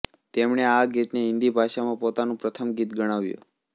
તેમણે આ ગીતને હિન્દીભાષામાં પોતાનું પ્રથમ ગીત ગણાવ્યું